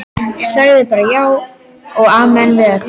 Sagði bara já og amen við öllu.